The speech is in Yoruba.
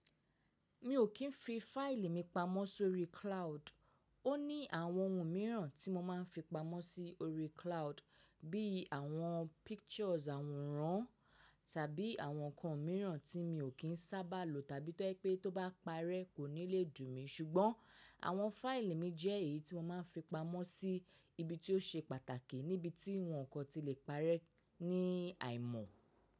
Mi ò kín fi fáìlì mi pamọ́ sórí cloud. Ó ní àwọn ohun mìíràn tí mo máa ń fi pamọ́ sí orí cloud bí i àwọn pictures àwòrán tàbí àwọn nǹkan mìíràn tí mi ò kín sábà lo tàbí tó ẹ pé tó bá parẹ́ kò ní lè dùn mí ṣùgbọ́n àwọn fáìlì mi jẹ́ èyí tí mo máa ń fi pamọ́ sí ibi tí ó ṣe pàtàkì níbi tí nǹkan ti lè parẹ́ ní àìmọ̀.